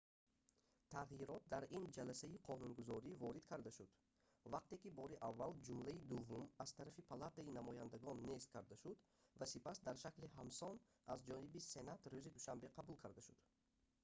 тағйирот дар ин ҷаласаи қонунгузорӣ ворид карда шуд вақте ки бори аввал ҷумлаи дуввум аз тарафи палатаи намояндагон нест карда шуд ва сипас дар шакли ҳамсон аз ҷониби сенат рӯзи душанбе қабул карда шуд